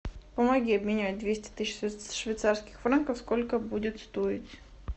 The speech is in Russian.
помоги обменять двести тысяч швейцарских франков сколько будет стоить